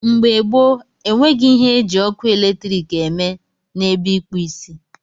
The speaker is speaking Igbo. Mgbe gboo, enweghị ihe eji ọkụ eletrik eme n'ebe ịkpụ isi.